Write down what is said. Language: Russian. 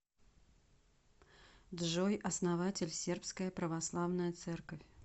джой основатель сербская православная церковь